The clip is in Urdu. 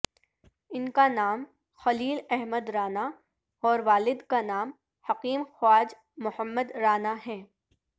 ان کا نام خلیل احمد رانا اور والد کا نام حکیم خواج محمد رانا ہے